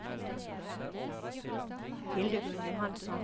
Hildegunn Johansson